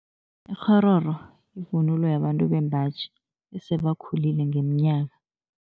Ikghororo yivunulo yabantu bembaji, esebakhulile ngeminyaka.